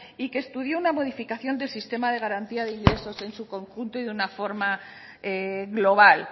y que estudió una modificación del sistema de garantía de ingresos en su conjunto y de una forma global